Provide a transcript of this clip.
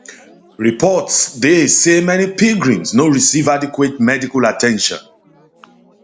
reports dey say many pilgrims no receive adequate medical at ten tion at ten tion